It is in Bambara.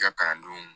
I ka kalandenw